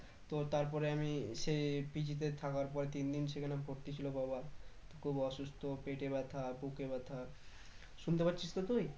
তো তারপরে আমি সেই PG তে থাকার পর তিন দিন সেখানে ভর্তি ছিল বাবা খুব অসুস্থ পেটে ব্যাথা বুকে ব্যাথা শুনতে পাচ্ছিস তো তুই?